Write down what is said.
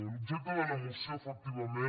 l’objecte de la moció efectivament